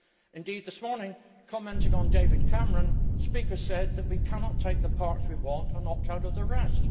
Indeed this morning, commenting on David Cameron, speakers said that we cannot take the parts we want and opt out of the rest.